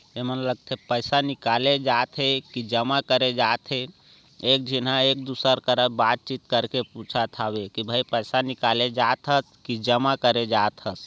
ये मने लगते पैसा निकाले जाथे की जमा करे जात हे एक जीन एक दुसर कर बात चित करके पूछा थावे के भाइ पैसा निकले जात हस की जमा करे जात हस।